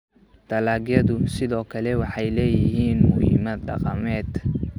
Dalagyadu sidoo kale waxay leeyihiin muhiimad dhaqameed.